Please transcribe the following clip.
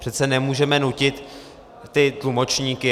Přece nemůžeme nutit ty tlumočníky.